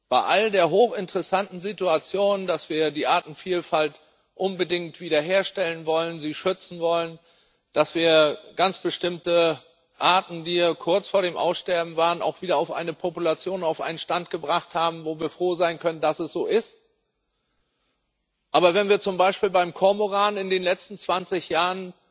Bei all der hochinteressanten Situation, dass wir die Artenvielfalt unbedingt wiederherstellen wollen, sie schützen wollen, dass wir ganz bestimmte Arten, die kurz vor dem Aussterben waren, auch wieder auf eine Population, auf einen Stand gebracht haben, wo wir froh sein können, dass es so ist. Wenn wir aber zum Beispiel beim Kormoran in den letzten 20 Jahren